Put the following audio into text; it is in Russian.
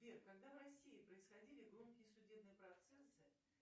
сбер когда в россии происходили громкие судебные процессы